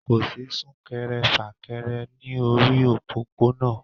Kò sí sún-kẹrẹ-fà-kẹrẹ ní orí òpópónà